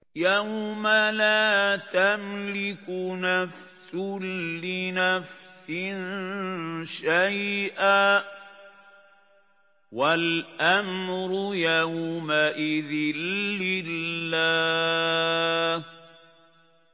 يَوْمَ لَا تَمْلِكُ نَفْسٌ لِّنَفْسٍ شَيْئًا ۖ وَالْأَمْرُ يَوْمَئِذٍ لِّلَّهِ